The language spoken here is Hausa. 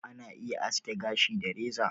Ana iya aske gashi da reza